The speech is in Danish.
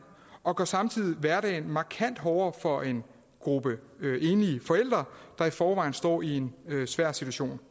og gør samtidig hverdagen markant hårdere for en gruppe enlige forældre der i forvejen står i en svær situation